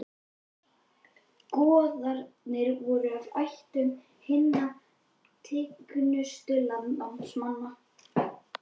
Goðarnir voru af ættum hinna tignustu landnámsmanna.